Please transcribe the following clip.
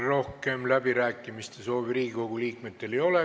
Rohkem Riigikogu liikmetel läbirääkimiste soovi ei ole.